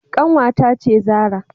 Kanwata ce Zarah.